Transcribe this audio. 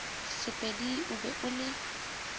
sepedi o be o le